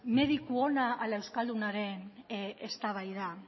mediku ona edo euskaldunaren eztabaida